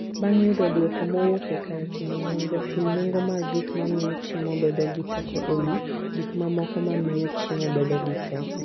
Bang' yudo dwoko mowuok e kar timo nonro, pim nengo mag gik mamiyo chiemo bedo gi teko e wi gik mamoko ma miyo chiemo bedo gi teko.